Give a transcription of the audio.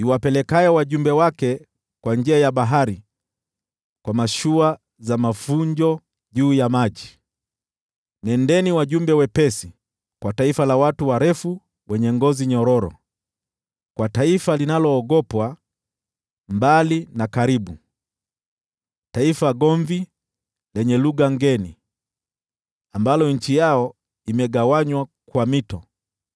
iwapelekayo wajumbe wake kwa njia ya bahari kwa mashua za mafunjo juu ya maji. Nendeni, wajumbe wepesi, kwa taifa la watu warefu wenye ngozi nyororo, kwa taifa linaloogopwa mbali na karibu, taifa gomvi lenye lugha ngeni, ambalo nchi yao imegawanywa kwa mito.